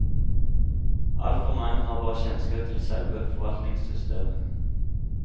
Altfor mange har bare kjennskap til selve forvaltningssystemet.